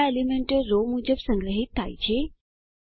આ એલીમેન્ટો રો મુજબ સંગ્રહિત થાય છે